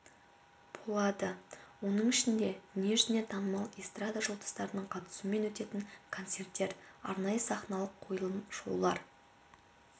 болады оның ішінде дүние жүзіне танымал эстрада жұлдыздарының қатысуымен өтетін концерттер арнайы сахналық қойылымдар шоулар